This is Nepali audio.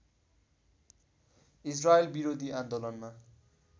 इजरायल विरोधी आन्दोलनमा